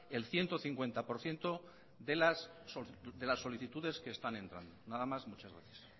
el ciento cincuenta por ciento de las solicitudes que están entrando nada más muchas gracias